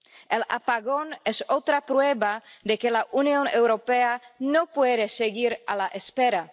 El apagón es otra prueba de que la Unión Europea no puede seguir a la espera.